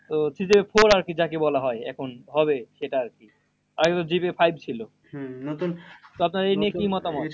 তো session four আরকি যাকে বলা হয় এখন হবে সেটা আরকি। আমাদের five ছিল। তো আপনার এই নি কি মতামত?